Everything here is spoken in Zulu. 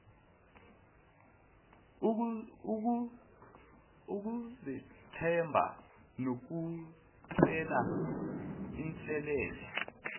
ukuzethemba nokucela inselele